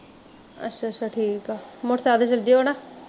ਅੱਛਾ ਠੀਕ ਆ ਮੋਟੋਰਸੈਕਲ ਫਿਰਦੇ ਓ ਨਾ